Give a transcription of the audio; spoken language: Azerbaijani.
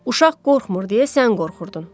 Uşaq qorxmur deyə sən qorxurdun.